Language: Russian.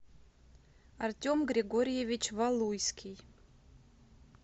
артем григорьевич валуйский